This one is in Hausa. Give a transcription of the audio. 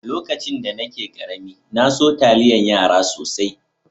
Lokacin da nake karemi, na so taliyan yara sosai.